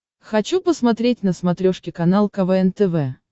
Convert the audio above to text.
хочу посмотреть на смотрешке канал квн тв